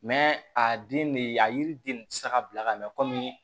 a den de a yiriden ne ti se ka bila ka mɛ komi